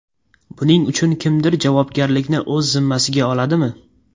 Buning uchun kimdir javobgarlikni o‘z zimmasiga oladimi?